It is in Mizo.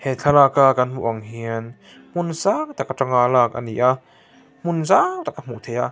he thlalak a kan hmuh ang hian hmun sang tak atang a lak a ni a hmun zau tak a hmuh theih a.